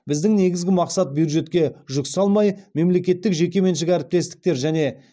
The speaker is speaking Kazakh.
біздің негізгі мақсат бюджетке жүк салмай мемлекеттік жекеменшік әріптестіктер және